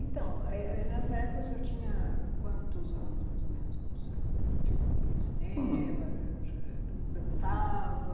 Então, é é nessa época, o senhor tinha quantos anos, mais ou menos, quando o senhor ia ao cinema, dançava?